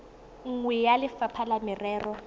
nngwe ya lefapha la merero